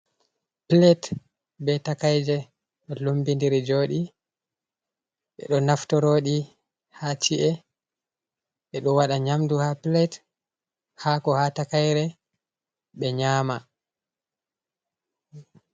Plate be takaije, ɗo lumbindiri joodi. Ɓe ɗo naftoroɗi haa ci’e. Ɓe ɗo waɗa nyamdu haa plate, haako haa takaire, ɓe nyama.